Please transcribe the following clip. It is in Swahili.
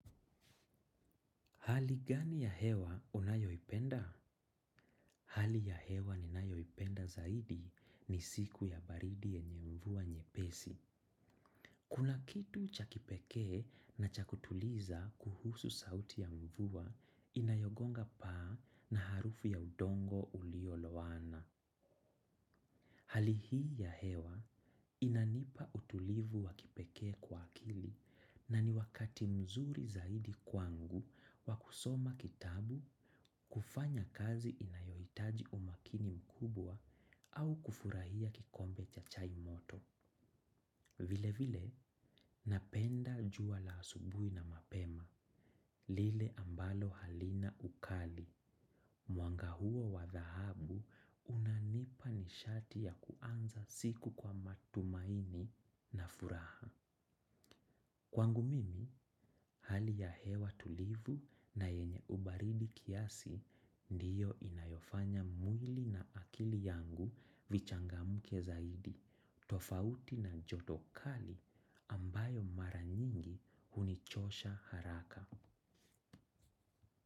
Hali gani ya hewa unayoipenda. Hali ya hewa ninayoipenda zaidi ni siku ya baridi yenye mvua nyepesi. Kuna kitu cha kipekee na cha kutuliza kuhusu sauti ya mvua inayogonga paa na harufu ya udongo ulioloana. Hali hii ya hewa inanipa utulivu wa kipekee kwa akili na ni wakati mzuri zaidi kwangu wa kusoma kitabu kufanya kazi inayohitaji umakini mkubwa au kufurahia kikombe cha chai moto. Vile vile napenda jua la asubui na mapema lile ambalo halina ukali. Mwanga huo wa dhahabu unanipa nishati ya kuanza siku kwa matumaini na furaha. Kwangu mimi, hali ya hewa tulivu na yenye ubaridi kiasi ndiyo inayofanya mwili na akili yangu vichangamke zaidi, tofauti na joto kali ambayo mara nyingi hunichosha haraka.